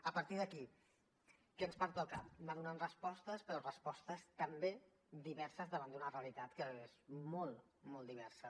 a partir d’aquí què ens pertoca anar donant respostes però respostes també diverses davant d’una realitat que és molt i molt diversa